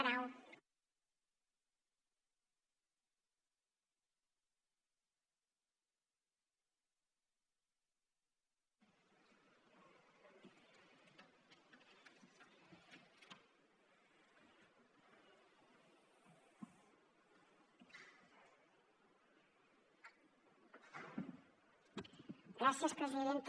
gràcies presidenta